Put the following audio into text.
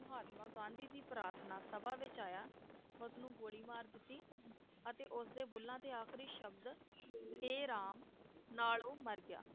ਮਹਾਤਮਾ ਗਾਂਧੀ ਦੀ ਪ੍ਰਾਥਨਾ ਸਭਾ ਵਿਚ ਆਇਆ ਉਸ ਨੂੰ ਗੋਲੀ ਮਾਰ ਦਿੱਤੀ ਅਤੇ ਉਸਦੇ ਬੁੱਲਾਂ ਤੇ ਆਖਰੀ ਸ਼ਬਦ ਹੇ ਰਾਮ ਨਾਲ ਉਹ ਮਰ ਗਿਆ